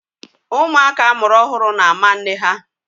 Ụmụaka a mụrụ ọhụrụ na-ámá nne ha.